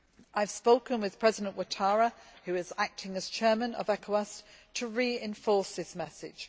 I have spoken with President Ouattara, who is acting as Chairman of ECOWAS, to reinforce this message.